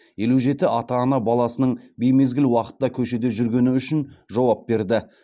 елу жеті ата ана баласының беймезгіл уақытта көшеде жүргені үшін жауап берді